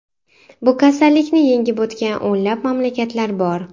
Bu kasallikni yengib o‘tgan o‘nlab mamlakatlar bor.